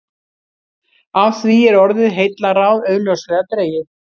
Af því er orðið heillaráð augljóslega dregið.